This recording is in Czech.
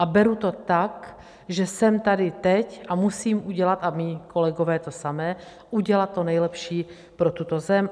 A beru to tak, že jsem tady teď a musím udělat - a mí kolegové to samé - udělat to nejlepší pro tuto zem.